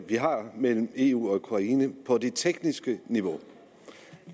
vi har mellem eu og ukraine på det tekniske niveau